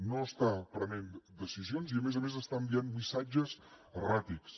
no està prenent decisions i a més a més està enviant missatges erràtics